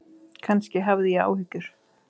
Kannski hafði ég áhyggjur.